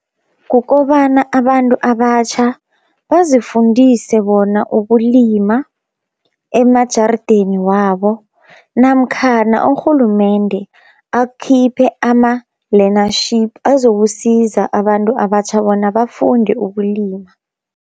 Kukobana abantu abatjha bazifundise bona ukulima emajardeni wabo, namkhana urhulumende akhiphe ama-learnership azokusiza abantu abatjha bona bafunde ukulima.